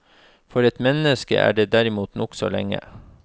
For et menneske er det derimot nokså lenge.